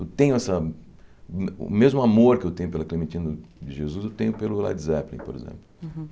Eu tenho essa... O o mesmo amor que eu tenho pela Clementina de Jesus, eu tenho pelo Led Zeppelin, por exemplo. Uhum